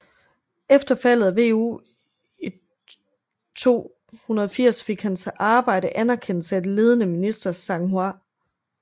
Efter faldet af Wu i 280 fik hans arbejde anerkendelse af det ledende minister Zhang Hua